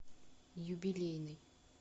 юбилейный